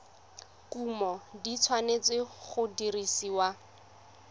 kumo di tshwanetse go dirisiwa